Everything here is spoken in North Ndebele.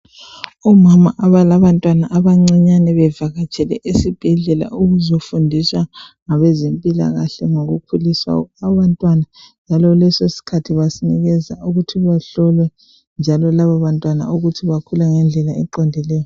Omama abalabantwana abancinyane bevakatshele esibhedlela ukuzofundiswa ngabezempilakahle ngokukhulisa abantwana njalo lesi sikhathi basinikeza ukuthi bahlolwe njalo labo bantwana ukuthi bakhula ngendlela eqondileyo.